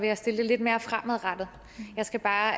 jeg stille det lidt mere fremadrettet jeg skal bare